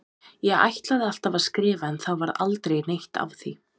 Ég ætlaði alltaf að skrifa en það varð aldrei neitt af því.